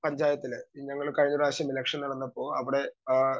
speaker 2 പഞ്ചായത്തില് ഞങ്ങൾ കഴിഞ്ഞ പ്രാവശ്യം ഇലക്ഷൻ നടന്നപ്പോ അവിടെ അഹ്